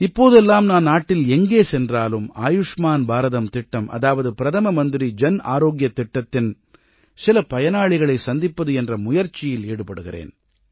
இப்போதெல்லாம் நான் நாட்டில் எங்கே சென்றாலும் ஆயுஷ்மான் பாரதம் திட்டம் அதாவது பிரதம மந்திரி ஜன் ஆரோக்கியத் திட்டத்தின் சில பயனாளிகளைச் சந்திப்பது என்ற முயற்சியில் ஈடுபடுகிறேன்